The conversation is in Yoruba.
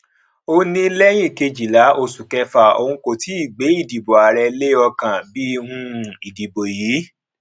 ó ní lẹyìn kejìlá oṣù kẹfà òun kò tíì gbé ìdìbò ààrẹ lé ọkàn bí um ìdìbò yìí